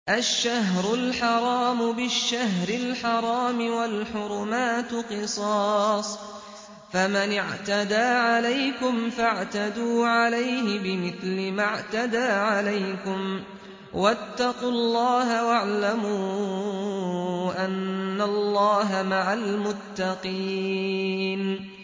الشَّهْرُ الْحَرَامُ بِالشَّهْرِ الْحَرَامِ وَالْحُرُمَاتُ قِصَاصٌ ۚ فَمَنِ اعْتَدَىٰ عَلَيْكُمْ فَاعْتَدُوا عَلَيْهِ بِمِثْلِ مَا اعْتَدَىٰ عَلَيْكُمْ ۚ وَاتَّقُوا اللَّهَ وَاعْلَمُوا أَنَّ اللَّهَ مَعَ الْمُتَّقِينَ